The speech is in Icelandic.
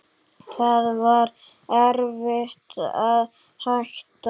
Það var erfitt að hætta.